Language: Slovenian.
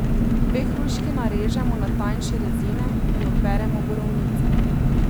Dve hruški narežemo na tanjše rezine in operemo borovnice.